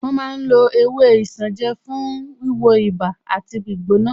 Wọ́n ma ń lo ewé isanje fún wíwo ibà àti ìgbóná